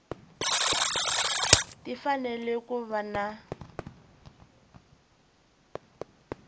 ti fanele ku va na